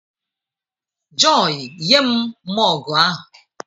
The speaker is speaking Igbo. Joy, nye m mọgụ ahụ!